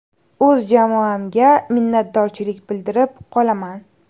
O‘z jamoamga minnatdorchilik bildirib qolaman.